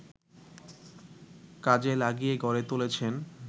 কাজে লাগিয়ে গড়ে তুলেছেন